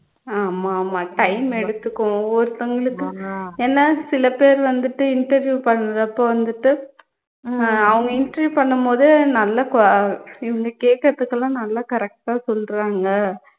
ஆமா ஆமா time எடுத்துக்கும் ஒவ்வொருத்தவங்களுக்கு ஏன்னா சில பேர் வந்துட்டு interview பண்ணுறப்போ வந்துட்டு அஹ் அவங்க interview பண்ணும்போது நல்ல குவ இவங்க கேக்குறதுக்கெல்லாம் நல்ல correct ஆ சொல்லுறாங்க